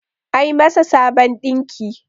a yi masà Sabon dinki!